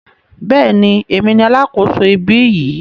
Bẹ́ẹ̀ni, èmi ni alákòso ibí yìí.